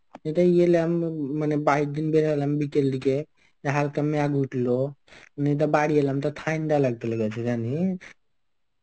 আমি মানে বাইর দিন বেরোলাম বিকেল দিকে যে হালকা হালকা মেয়া গুঠলো. আমি তো বাড়ি এলাম তো ঠান্ডা লাগতে লেগেছে জানিস.